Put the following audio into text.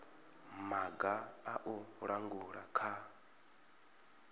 maga a u langula kha